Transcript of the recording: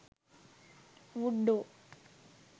wood door